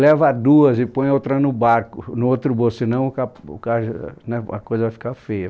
Leva duas e põe outra no barco, no outro bolso, senão a ca o cas né a coisa vai ficar feia.